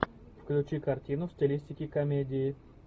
включи картину в стилистике комедии